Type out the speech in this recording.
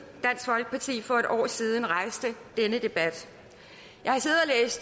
dansk folkeparti for et år siden rejste denne debat